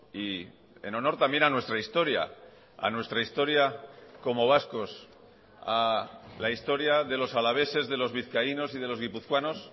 y en honor también a nuestra historia a nuestra historia como vascos a la historia de los alaveses de los vizcaínos y de los guipuzcoanos